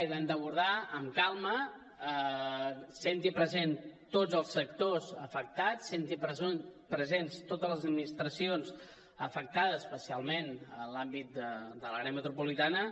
i l’hem d’abordar amb calma sent hi presents tots els sectors afectats sent hi presents totes les administracions afectades especialment en l’àmbit de l’àrea metropolitana